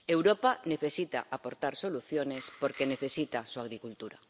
Europa necesita aportar soluciones porque necesita su agricultura.